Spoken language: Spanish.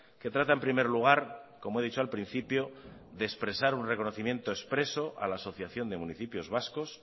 que trata en primer lugar como he dicho al principio de expresar un reconocimiento expreso a la asociación de municipios vascos